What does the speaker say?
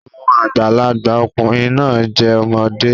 Àwọn àgbàlagbà ọkùnrin náà jẹ́ ọmọdé